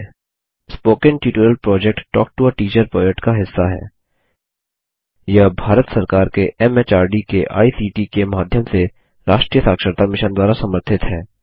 spoken tutorial project talk to a teacher project का हिस्सा हैयह भारत सरकार के एमएचआरडी के आईसीटी के माध्यम से राष्ट्रीय साक्षरता मिशन द्वारा समर्थित है